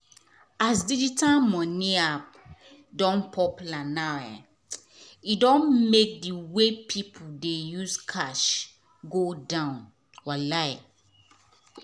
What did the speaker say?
as digital money app don popular now e don make the way pipu dey use cash go down wallahi.